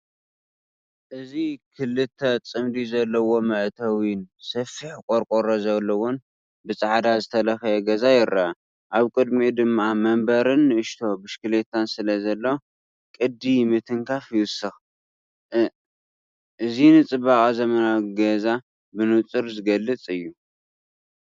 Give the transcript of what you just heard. እዚ ክልተ ዓምዲ ዘለዎ መእተዊን ሰፊሕ ቆርቆሮ ዘለዎ ብጻዕዳ ዝተለኽየ ገዛ ይርአ። ኣብ ቅድሚኡ ድማ መንበርን ንእሽቶ ብሽክለታን ስለዘሎ፡ ቅዲ ምትንኻፍ ይውስኽ። እ እዚ ንጽባቐ ዘመናዊ ገዛ ብንጹር ዝገልጽ እዩ።